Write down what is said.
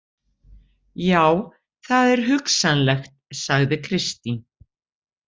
Já, það er hugsanlegt, sagði Kristín.